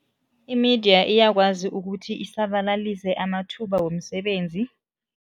I-media iyakwazi ukuthi isabalalise amathuba womsebenzi.